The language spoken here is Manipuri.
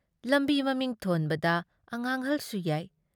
ꯂꯝꯕꯤ ꯃꯃꯤꯡ ꯊꯣꯟꯕꯗ ꯑꯉꯥꯡꯍꯜꯁꯨ ꯌꯥꯏ ꯫